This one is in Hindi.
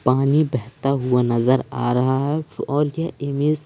पानी बहता हुआ नजर आ रहा है और यह इमेज --